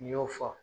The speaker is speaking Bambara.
N'i y'o fɔ